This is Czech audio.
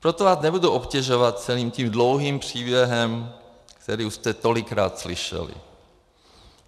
Proto vás nebudu obtěžovat celým tím dlouhým příběhem, který už jste tolikrát slyšeli.